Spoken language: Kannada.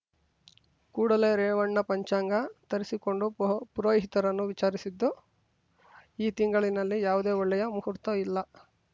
ಕೂಡಲೇ ರೇವಣ್ಣ ಪಂಚಾಂಗ ತರಿಸಿಕೊಂಡು ಪುರೋಹಿತರನ್ನು ವಿಚಾರಿಸಿದ್ದು ಈ ತಿಂಗಳಿನಲ್ಲಿ ಯಾವುದೇ ಒಳ್ಳೆಯ ಮುಹೂರ್ತ ಇಲ್ಲ